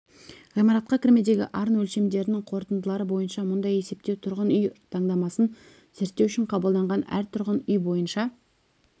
ғимаратқа кірмедегі арын өлшемдерінің қорытындылары бойынша мұндай есептеу тұрғын үй таңдамасын зерттеу үшін қабылданған әр тұрғын үй бойынша